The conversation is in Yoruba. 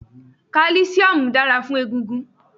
Kálísíómù dára fún egungun